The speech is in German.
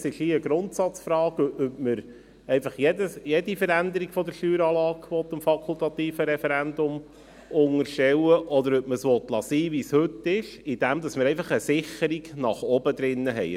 Es ist eine Grundsatzfrage, ob man jede Veränderung der Steueranlage dem fakultativen Referendum unterstellen will, oder ob man es sein lassen will, wie es heute ist: dass wir einfach eine Sicherung nach oben drin haben.